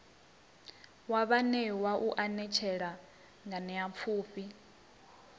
wa vhaanewa u anetshela nganeapfhufhi